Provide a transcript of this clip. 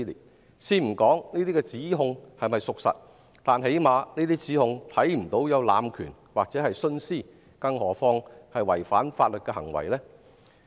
我先不談這些指控是否屬實，但最低限度，在這些指控中看不到濫權或徇私，更莫說是有違反法律的行為了。